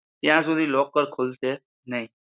ત્યાં સુધી locker ખુલશે નહિ